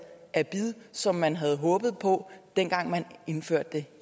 af bid som man havde håbet på dengang man indførte det